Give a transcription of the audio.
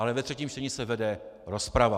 Ale ve třetím čtení se vede rozprava.